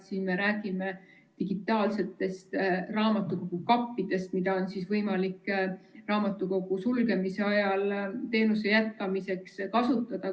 Siin me räägime digitaalsetest raamatukogu kappidest, mida on võimalik raamatukogu sulgemise ajal teenuse jätkamiseks kasutada.